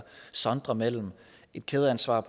sondre mellem et kædeansvar